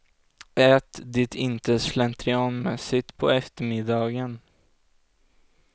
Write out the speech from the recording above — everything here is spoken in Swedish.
Ät det inte slentrianmässigt på eftermiddagen.